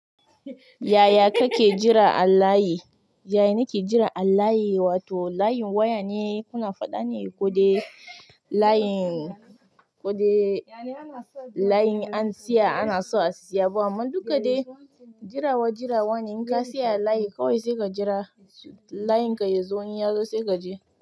Yaya kake jira allayi? Yaya nake jira allayi? Wato layin waya ne kuna faɗa ne ko dai layin ko dai layin an siya ana so a siya. Amma dukka dai jirawa jirawa ne. In ka siya layi kawai sai ka jira layin ka ya zo in ya zo sai ka je.